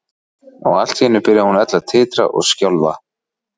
Og allt í einu byrjaði hún öll að titra og skjálfa.